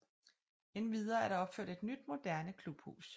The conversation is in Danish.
Endvidere er der opført et nyt moderne klubhus